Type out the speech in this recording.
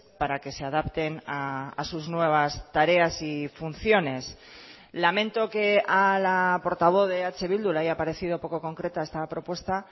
para que se adapten a sus nuevas tareas y funciones lamento que a la portavoz de eh bildu le haya parecido poco concreta esta propuesta